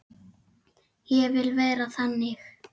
Ég vil vera þannig.